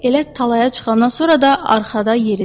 Elə talaya çıxandan sonra da arxada yeridi.